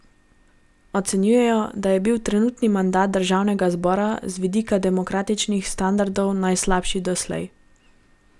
Ocenjuje, da je bil trenutni mandat državnega zbora z vidika demokratičnih standardov najslabši doslej.